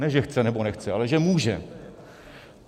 Ne že chce nebo nechce, ale že může.